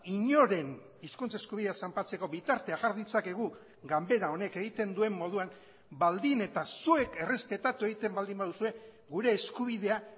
inoren hizkuntz eskubidea zanpatzeko bitartea jar ditzakegu ganbera honek egiten duen moduan baldin eta zuek errespetatu egiten baldin baduzue gure eskubidea